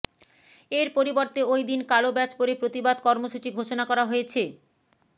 এর পরিবর্তে ওই দিন কালো ব্যাজ পরে প্রতিবাদ কর্মসূচি ঘোষণা করা হয়েছে